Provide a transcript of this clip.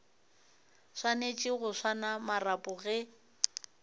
swanetše go swara marapo ge